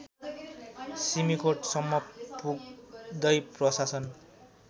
सिमिकोटसम्म पुग्दै प्रशासन